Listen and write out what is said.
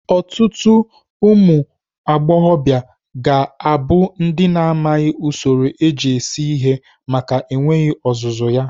Ọtụtụ ụmụagbọghọbịa ga-abụ ndị na-amaghị usoro eji esi ihe maka enweghị ọzụzụ ya.